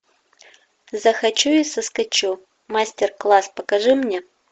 захочу и соскачу мастер класс покажи мне